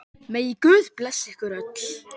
Megi Guð blessa ykkur öll.